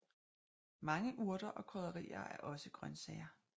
Mange urter og krydderier er også grøntsager